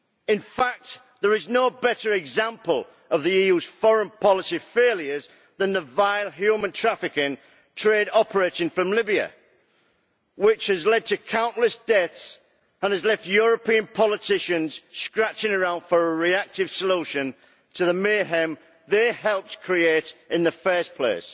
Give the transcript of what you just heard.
In fact, there is no better example of the EU's foreign policy failures than the vile human trafficking trade operating from Libya, which has led to countless deaths and has left European politicians scratching around for a reactive solution to the mayhem they helped create in the first place.